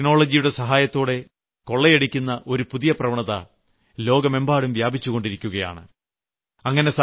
ഇങ്ങനെ ടെക്നോളജിയുടെ സഹായത്തോടെ കൊളളയടിക്കുന്ന ഒരു പുതിയ പ്രവണത ലോകമെമ്പാടും വ്യാപിച്ചു കൊണ്ടിരിക്കുകയാണ്